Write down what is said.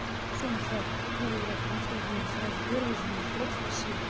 всё насрать буду играть потому что убили сразу в первую же ночь вот спасибо